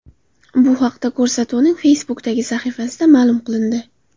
Bu haqda ko‘rsatuvning Facebook’dagi sahifasida ma’lum qilindi .